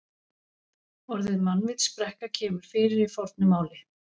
Orðið mannvitsbrekka kemur fyrir í fornu máli.